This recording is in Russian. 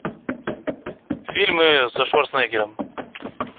фильмы со шварценеггером